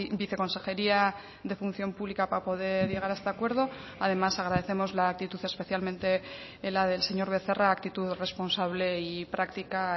viceconsejería de función pública para poder llegar a este acuerdo además agradecemos la actitud especialmente la del señor becerra actitud responsable y práctica